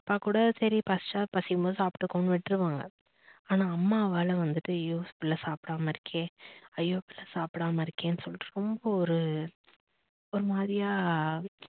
அப்பா கூட சரி பசிச்சா பசிக்கும்போது சாப்பிட்டுக்கும்னு விட்ருவாங்க ஆனா அம்மாவால வந்துட்டு ஐயோ புள்ள சாப்பிடாம இருக்கே ஐயோ புள்ள சாப்பிடாம இருக்கேன்னு சொல்லிட்டு ரொம்ப ஒரு ஒரு மாதிரியா